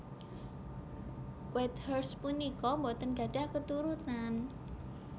Whitehurst punika boten gadhah keturunan